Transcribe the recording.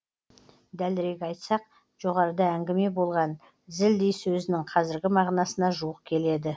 дәлірек айтсақ жоғарыда әңгіме болған зілдей сөзінің қазіргі мағынасына жуық келеді